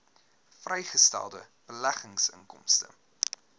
vrygestelde beleggingsinkomste